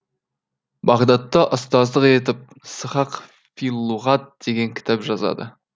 бағдатта ұстаздық етіп сыхақ фи л лұғат деген кітап жазады